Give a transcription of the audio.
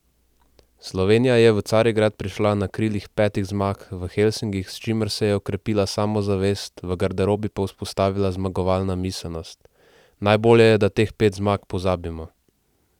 Slovenija je v Carigrad prišla na krilih petih zmag v Helsinkih, s čimer se je okrepila samozavest, v garderobi pa vzpostavila zmagovalna miselnost: "Najbolje je, da teh pet zmag pozabimo.